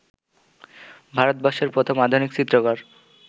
ভারতবর্ষের প্রথম আধুনিক চিত্রকর